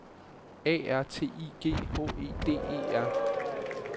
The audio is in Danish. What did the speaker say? A R T I G H E D E R